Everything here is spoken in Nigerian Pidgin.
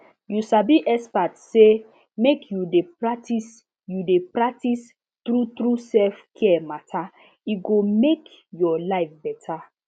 you sabi expert say make you dey practice you dey practice true true selfcare matter e go make your life better